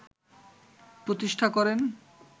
প্রতিষ্ঠা করেন